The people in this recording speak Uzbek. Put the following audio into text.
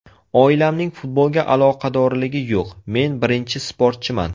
Oilamning futbolga aloqadorligi yo‘q, men birinchi sportchiman.